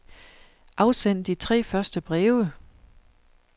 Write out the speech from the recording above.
Afsend de tre første breve.